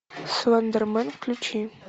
слендермен включи